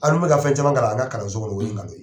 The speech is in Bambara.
An dun bɛ ka fɛn caman kalan an ka kalansow o ye nkalon ye.